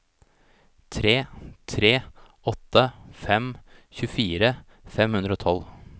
tre tre åtte fem tjuefire fem hundre og tolv